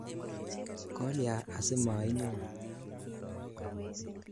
Kolya asimainyo?